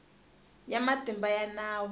ya matimba ya nawu ya